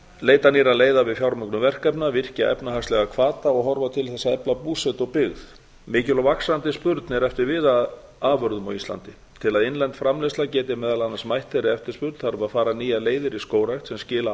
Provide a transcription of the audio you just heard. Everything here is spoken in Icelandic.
leita nýrra leiða við fjármögnun verkefna virkja efnahagslega hvata og horfa til þess að efla búsetu og byggð mikil og vaxandi spurn er eftir viðarafurðum á íslandi til að innlend framleiðsla geti meðal annars mætt þeirri eftirspurn þarf að fara nýjar leiðir í skógrækt sem skila